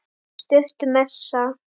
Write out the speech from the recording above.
Stutt messa.